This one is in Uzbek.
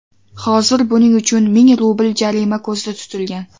Hozir buning uchun ming rubl jarima ko‘zda tutilgan.